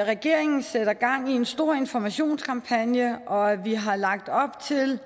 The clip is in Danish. at regeringen sætter gang i en stor informationskampagne og at vi har lagt op til